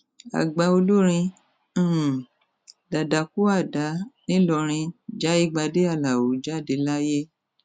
àgbà olórin um dadakuada nìlọrin jaigbade alao jáde láyé